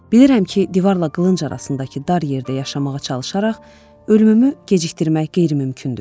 Bilirəm ki, divarla qılınc arasındakı dar yerdə yaşamağa çalışaraq, ölümümü gecikdirmək qeyri-mümkündür.